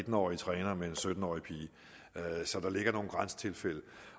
årig træner og en sytten årige pige så der ligger nogle grænsetilfælde